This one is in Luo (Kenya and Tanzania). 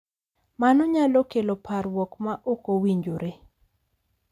Mano nyalo kelo parruok ma ok owinjore